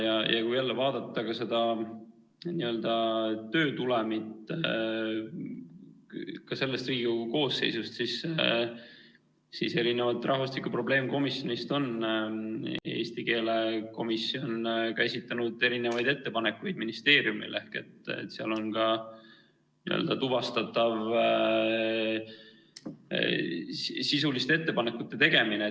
Ja kui jälle vaadata seda töö tulemit, ka selles Riigikogu koosseisus, siis erinevalt rahvastiku probleemkomisjonist on eesti keele komisjon käsitlenud erinevaid ettepanekuid ministeeriumile ehk seal on ka tuvastatav sisuliste ettepanekute tegemine.